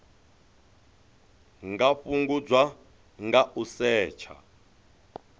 nga fhungudzwa nga u setsha